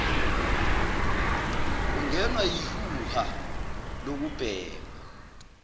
ungenwa yihuha lokubhema